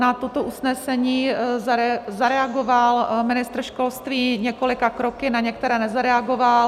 Na toto usnesení zareagoval ministr školství několika kroky, na některé nezareagoval.